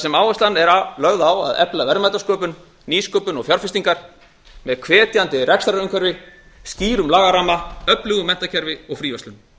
sem áherslan er lögð á að efla verðmætasköpun nýsköpun og fjárfestingar með hvetjandi rekstrarumhverfi skýrum lagaramma öflugu menntakerfi og fríverslun